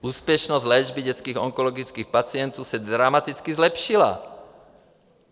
Úspěšnost léčby dětských onkologických pacientů se dramaticky zlepšila.